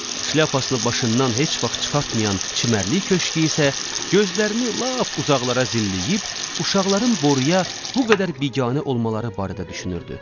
Şlyapasını başından heç vaxt çıxartmayan çimərlik köşkü isə gözlərini lap uzaqlara zilləyib, uşaqların boruya bu qədər biganə olmaları barədə düşünürdü.